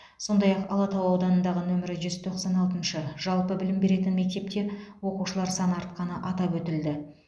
сондай ақ алатау ауданындағы нөмірі жүз тоқсан алтыншы жалпы білім беретін мектепте оқушылар саны артқаны атап өтілді